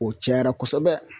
O cayara kosɛbɛ.